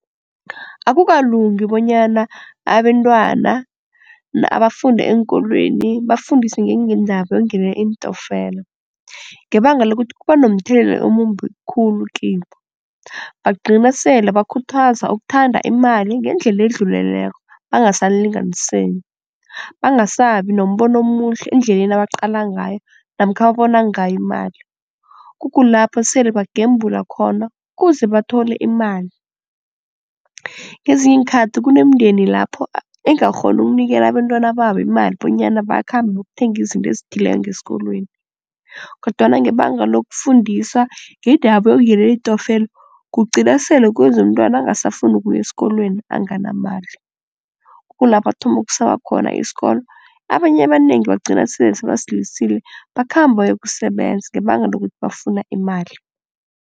Akukalungi bonyana abentwana abafunda eenkolweni bafundiswe njengendaba yokungenela iintokfela, ngebanga lokuthi kuba nomthelela omumbi khulu kibo. Bagcina sele bakhuthaza ukuthanda imali ngendlela edluleleko bangasalinganiseki, bangasabi nombono omuhle endleleni abaqala ngayo namkha ababona ngayo imali, kukulapho sele bagembula khona kuze bathole imali. Ngezinye iinkhathi kunemindeni lapho engakghoni ukunikela abentwana babo imali bonyana bakhambe bokuthenga izinto ezithileko ngesikolweni, kodwana ngebanga lokufundisa ngendaba yokungenela iintokfela kugcina sele kwenza umntwana angasafuni ukuya esikolweni anganamali. Kukulapha athoma ukusaba khona isikolo. Abanye ebanengi bagcina sele sebasilisile bakhamba bayokusebenza ngebanga lokuthi bafuna imali.